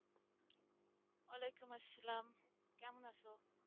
ওয়ালাইকুম আসসালাম কেমন আছো?